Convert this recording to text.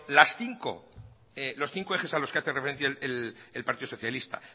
los cinco ejes a los que hace referencia el partido socialista